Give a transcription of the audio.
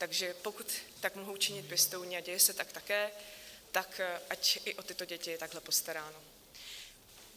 Takže pokud tak mohou činit pěstouni, a děje se tak také, tak ať i o tyto děti je takhle postaráno.